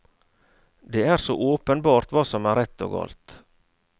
Det er så åpenbart hva som er rett og galt.